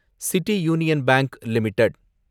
city union bank limited